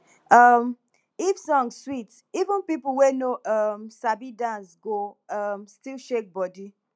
um if song sweet even people wey no um sabi dance go um still shake body